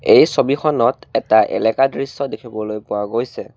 এই ছবিখনত এটা এলেকাৰ দৃশ্য দেখিবলৈ পোৱা গৈছে।